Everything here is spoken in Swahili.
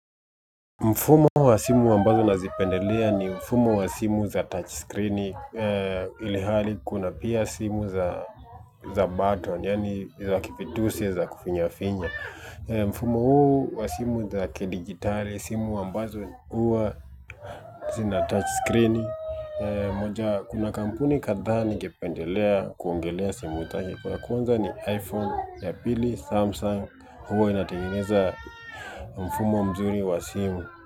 Mfumo wa simu ambazo nazipendelea, ni mfumo wa simu za touch screen, ilhali kuna pia simu za za button, yaani za kifitusi, za kufinya finya mfumo huu wa simu za kidijitali, simu ambazo huwa, zina touch screen moja, kuna kampuni kadhaa ningependelea kuongelea simu zake. Ya kwanza, ni iPhone, ya pili Samsung, huwa inatengeneza mfumo mzuri wa simu.